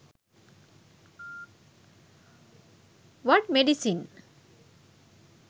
what medicine